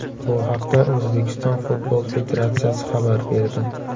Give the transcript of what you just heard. Bu haqda O‘zbekiston futbol federatsiyasi xabar berdi .